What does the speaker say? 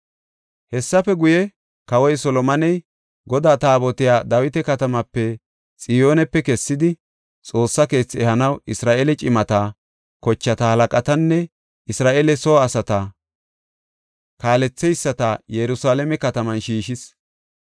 Hessafe guye, kawoy Solomoney Godaa taabotiya Dawita katamaape, Xiyoonepe kessidi, Xoossa keethi ehanaw Isra7eele cimata, kochata halaqatanne Isra7eele soo asata kaaletheyisata Yerusalaame kataman shiishis.